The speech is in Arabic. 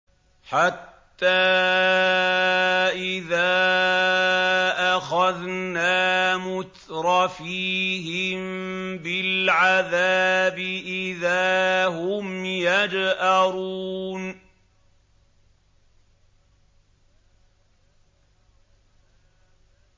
حَتَّىٰ إِذَا أَخَذْنَا مُتْرَفِيهِم بِالْعَذَابِ إِذَا هُمْ يَجْأَرُونَ